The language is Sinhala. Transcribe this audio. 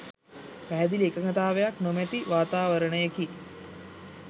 පැහැදිලි එකඟතාවයක් නොමැති වාතාවරණයකි.